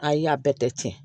A y'a bɛɛ kɛ cɛn